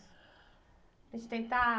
A gente tentar...